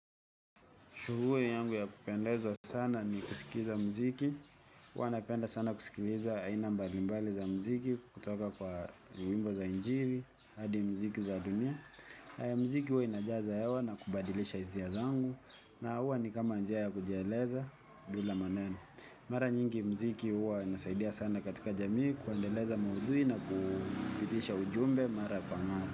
Shughuli yangu ya kupendeza sana ni kusikiza muziki. Huwa napenda sana kusikiliza aina mbalimbali za muziki kutoka kwa nyimbo za injili hadi muziki za dunia. Haya muziki huwa inajaza hewa na kubadilisha hisia zangu na huwa ni kama njia ya kujieleza bila maneno. Mara nyingi muziki huwa inasaidia sana katika jamii kuendeleza maudhui na kupitisha ujumbe mara kwa mara.